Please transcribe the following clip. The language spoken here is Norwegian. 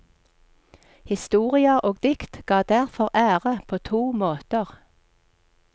Historier og dikt ga derfor ære på to måter.